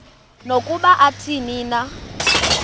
nokuba athini na